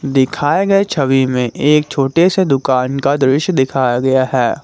दिखाए गए छवि में एक छोटे से दुकान का दृश्य दिखाया गया है।